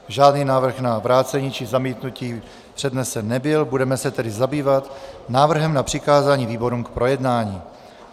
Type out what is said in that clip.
Žádný návrh na vrácení či zamítnutí přednesen nebyl, budeme se tedy zabývat návrhem na přikázání výborům k projednání.